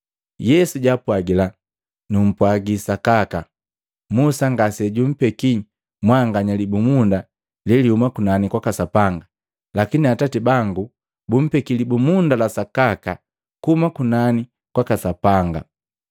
Yesu jaapwagila, “Numpwaji sakaka, Musa ngasejumpeki mwanganya libumunda lelihuma kunani kwaka Sapanga. Lakini Atati bangu bumpeke libumunda la sakaka kuhuma kunani kwaka Sapanga.